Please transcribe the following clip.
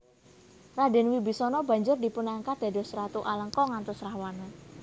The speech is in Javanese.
Radèn Wibisana banjur dipunangkat dados ratu Alengka nggantos Rahwana